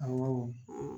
Awɔ